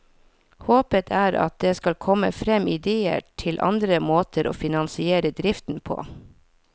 Håpet er at det skal komme frem idéer til andre måter å finansiere driften på.